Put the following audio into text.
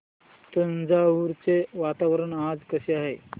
तंजावुर चे वातावरण आज कसे आहे